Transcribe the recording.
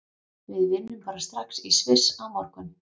Við vinnum bara strax í Sviss á morgun.